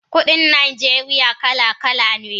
Kudin Najeriya kala kala ne